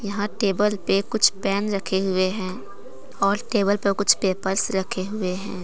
यहाँ टेबल पे कुछ पेन रखे हुए हैं और टेबल पर कुछ पेपर्स रखे हुए हैं।